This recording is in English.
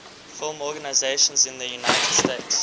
film organizations in the united states